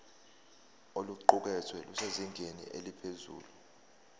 oluqukethwe lusezingeni eliphezulu